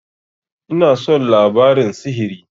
Ina son labarin sihiri.